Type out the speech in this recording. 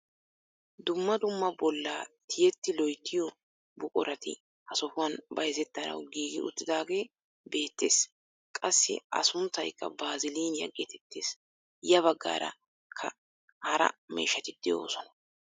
Dumma dumma bollaa tiyetti loyttiyoo buquratti ha sohuwaan bayzettanawu giigi uttidagee beettees. qassi a sunttaykka baaziliniyaa gettettees. ya baggaarakka hara miishshati de'oosona.